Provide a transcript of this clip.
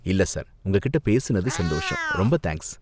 இல்ல சார், உங்க கிட்ட பேசுனது சந்தோஷம், ரொம்ப தேங்க்ஸ்.